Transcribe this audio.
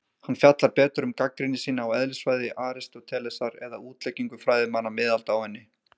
Hann fjallar betur um gagnrýni sína á eðlisfræði Aristótelesar eða útleggingu fræðimanna miðalda á henni.